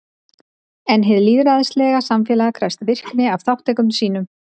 En hið lýðræðislega samfélag krefst virkni af þátttakendum sínum.